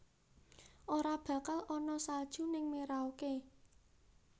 Ora bakal ana salju ning Merauke